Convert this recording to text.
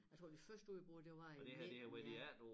Jeg tror det første udbrud det var i 19 ja